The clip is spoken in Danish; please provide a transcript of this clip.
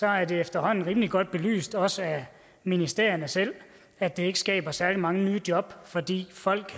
er det efterhånden rimelig godt belyst også af ministerierne selv at det ikke skaber særlig mange nye job fordi folk